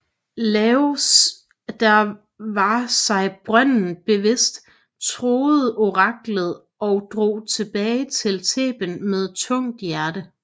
Laios der var sig brøden bevidst troede oraklet og drog tilbage til Theben med tungt hjerte